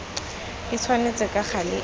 e tshwanetse ka gale e